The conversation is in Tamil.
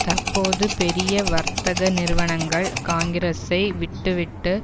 தற்போது பெரிய வர்த்தக நிறுவனங்கள் காங்கிரஸை விட்டுவிட்டு